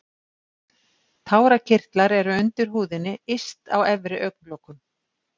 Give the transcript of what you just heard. tárakirtlar eru undir húðinni yst á efri augnlokum